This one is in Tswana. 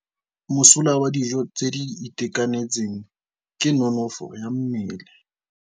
Mosola wa dijô tse di itekanetseng ke nonôfô ya mmele.